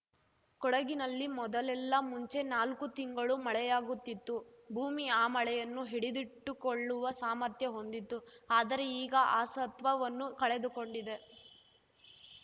ಕೊಡಗಿನಲ್ಲಿ ಮೊದಲೆಲ್ಲ ಮುಂಚೆ ನಾಲ್ಕು ತಿಂಗಳು ಮಳೆಯಾಗುತ್ತಿತ್ತು ಭೂಮಿ ಆ ಮಳೆಯನ್ನು ಹಿಡಿದಿಟ್ಟುಕೊಳ್ಳುವ ಸಾಮರ್ಥ್ಯ ಹೊಂದಿತ್ತು ಆದರೆ ಈಗ ಆ ಸತ್ವವನ್ನು ಕಳೆದುಕೊಂಡಿದೆ